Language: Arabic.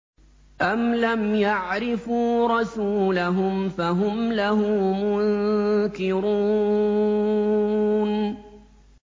أَمْ لَمْ يَعْرِفُوا رَسُولَهُمْ فَهُمْ لَهُ مُنكِرُونَ